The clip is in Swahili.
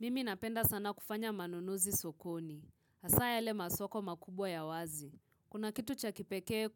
Mimi napenda sana kufanya manunuzi sokoni. Hasa yale masoko makubwa ya wazi. Kuna kitu cha kipekee